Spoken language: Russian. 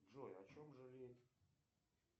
джой о чем жалеет